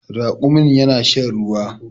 Raƙumin yana shan ruwa